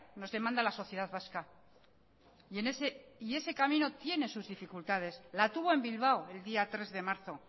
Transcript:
nos demanda la sociedad vasca y ese camino tiene sus dificultades la tuvo en bilbao el día tres de marzo